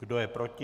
Kdo je proti?